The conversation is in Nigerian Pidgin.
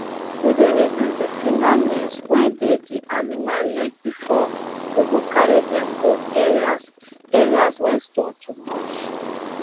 we dey reduce the fingernails wey dey d animal leg before we go carry dem go areas areas wey stone too much